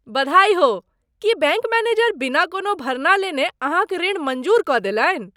बधाई हो! की बैङ्क मैनेजर बिना कोनो भरना लेने अहाँक ऋण मँजूर कऽ देलनि?